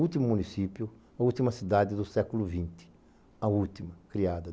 Último município, a última cidade do século vinte, a última criada.